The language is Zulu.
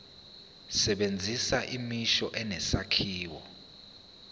sebenzisa imisho enesakhiwo